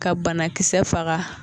Ka banakisɛ faga